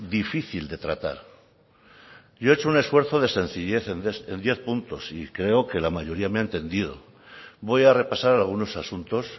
difícil de tratar yo he hecho un esfuerzo de sencillez en diez puntos y creo que la mayoría me ha entendido voy a repasar algunos asuntos